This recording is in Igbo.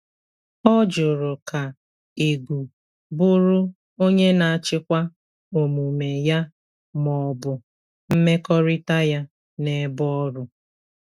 Ọ jùrù ka ègù bụrụ onye na-achịkwa òmùme ya ma ọ̀bụ̀ mmèkọ̀rịtà ya n’èbè ọrụ.